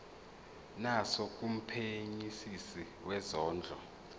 naso kumphenyisisi wezondlo